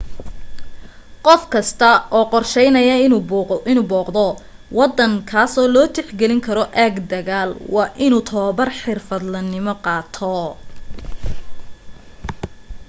qof kasta oo qorsheynaya inuu booqdo waddan kaasoo loo tixgelin karo aag dagaal waa inuu tababar xirfadlenimo qaato